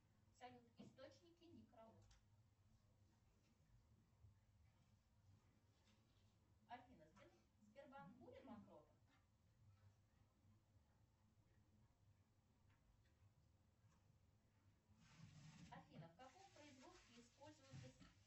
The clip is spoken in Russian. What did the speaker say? салют источники некролог афина сбербанк будет банкротом афина в каком производстве используется